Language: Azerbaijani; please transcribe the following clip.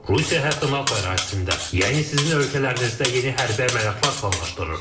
Rusiya hətta NATO ərazisində, yəni sizin ölkələrinizdə yeni hərbi əməliyyatlar planlaşdırır.